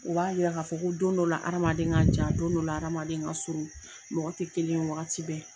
U b'a yira k'a fɔ ko don dɔ la hadamaden ka jan don dɔ la hadamaden ka surun mɔgɔ tɛ kelen ye wagati bɛɛ.